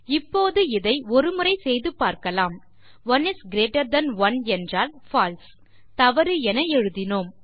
இப்போது இதை ஒருமுறை செய்து பார்க்கலாம் 1 இஸ் கிரீட்டர் தன் 1 என்றால் பால்சே தவறு என எழுதினோம்